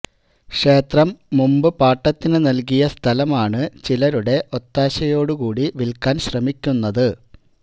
ക്ഷേത്രം മുമ്പ് പാട്ടത്തിന് നല്കിയ സ്ഥലമാണ് ചിലരുടെ ഒത്താശയോടു കൂടി വില്ക്കാന് ശ്രമിക്കുന്നത്